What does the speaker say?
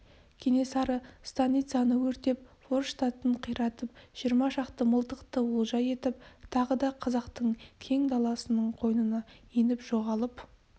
кенесары станицаны өртеп форштатын қиратып жиырма шақты мылтықты олжа етіп тағы да қазақтың кең даласының қойнына еніп жоғалып